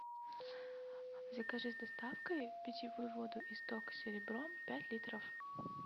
закажи с доставкой питьевую воду исток серебро пять литров